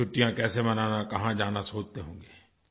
छुट्टियाँ कैसे मनाना कहाँ जाना सोचते होंगे